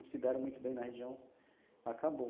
Não se deram muito bem na região, acabou.